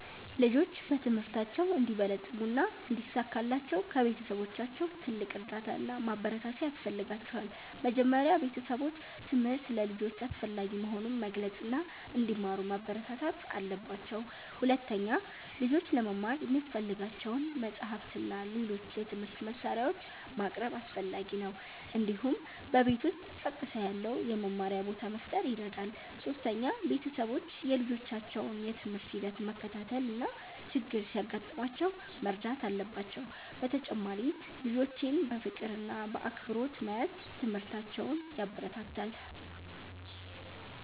ልጆች በትምህርታቸው እንዲበለጽጉ እና እንዲሳካላቸው ከቤተሰቦቻቸው ትልቅ እርዳታ እና ማበረታቻ ያስፈልጋቸዋል። መጀመሪያ ቤተሰቦች ትምህርት ለልጆች አስፈላጊ መሆኑን መግለጽ እና እንዲማሩ ማበረታታት አለባቸው። ሁለተኛ፣ ልጆች ለመማር የሚያስፈልጋቸውን መጻሕፍት እና ሌሎች የትምህርት መሳሪያዎች ማቅረብ አስፈላጊ ነው። እንዲሁም በቤት ውስጥ ጸጥታ ያለው የመማሪያ ቦታ መፍጠር ይረዳል። ሶስተኛ፣ ቤተሰቦች የልጆቻቸውን የትምህርት ሂደት መከታተል እና ችግር ሲያጋጥማቸው መርዳት አለባቸው። በተጨማሪም ልጆችን በፍቅር እና በአክብሮት መያዝ ትምህርታቸውን ያበረታታል።